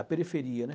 A periferia, né?